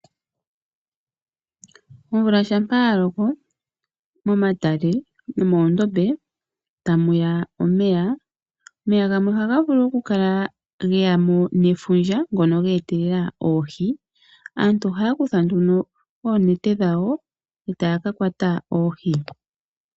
Omvula uuna ya loko momatale nomoondombe ohamu ya omeya ngoka gamwe ha ga vulu okukala ge ya mo nefundja ngoka geetelela oohi. Aantu ohaya kutha oonete dhawo e taya ka kwata oohi.